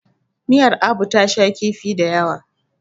miyar Abu ta sha kifi da yawa